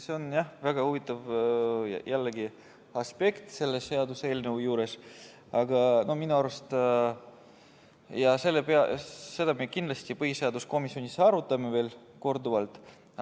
See on jah jällegi väga huvitav aspekt selle seaduseelnõu juures, aga minu arust me seda kindlasti põhiseaduskomisjonis arutame veel korduvalt.